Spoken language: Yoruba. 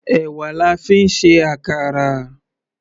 Èwà la fi ń ṣe àkàrà.